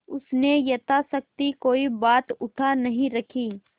उसने यथाशक्ति कोई बात उठा नहीं रखी